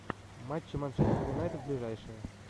матчи манчестер юнайтед ближайшие